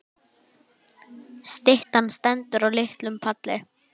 Styttan stendur á litlum palli.